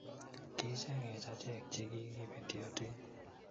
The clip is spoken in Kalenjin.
Ki-icheng'ech ache`k che kigi betyotin.